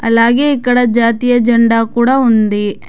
అలాగే ఇక్కడ జాతీయ జెండా కూడా ఉంది.